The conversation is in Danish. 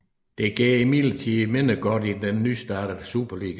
Det går imidlertid mindre godt i den nystartede Superliga